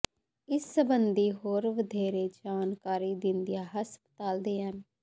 ਇਸ ਸਬੰਧੀ ਹੋਰ ਵਧੇਰੇ ਜਾਣਕਾਰੀ ਦਿੰਦਿਆਂ ਹਸਪਤਾਲ ਦੇ ਐਮ